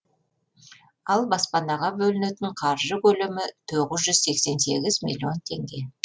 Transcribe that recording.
ал баспанаға бөлінетін қаржы көлемі тоғыз жүз сексен сегіз миллион теңге